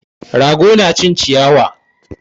Rago na cin ciyawa